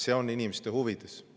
See on inimeste huvides.